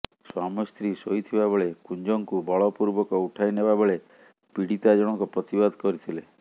ସ୍ୱାମୀସ୍ତ୍ରୀ ଶୋଇଥିବା ବେଳେ କୁଞ୍ଜଙ୍କୁ ବଳପୂର୍ବକ ଉଠାଇ ନେବା ବେଳେ ପୀଡ଼ିତା ଜଣକ ପ୍ରତିବାଦ କରିଥିଲେ